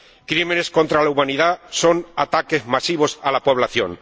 Crímenes contra la humanidad son ataques masivos a la población.